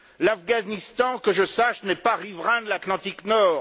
L'Afghanistan, que je sache, n'est pas riverain de l'Atlantique Nord.